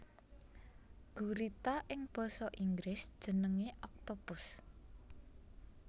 Gurita ing basa Inggris jenengé octopus